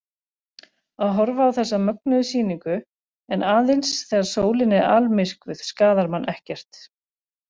Að horfa á þessa mögnuðu sýningu, en aðeins þegar sólin er almyrkvuð, skaðar mann ekkert.